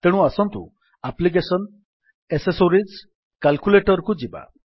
ତେଣୁ ଆସନ୍ତୁ application accessories calculator କୁ ଯିବା